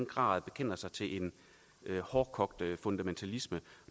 grad bekender sig til en hårdkogt fundamentalisme